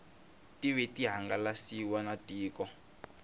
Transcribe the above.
tive ti hangalasiwa na tiko